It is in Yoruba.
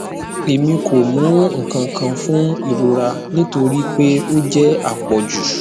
emi ko mu nkankan fun irora nitori pe o jẹ apọju